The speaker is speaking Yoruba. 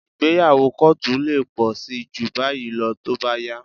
Ìgbéyàwó kóòtù lè pọ̀ síi jù báyìí lọ tó bá yá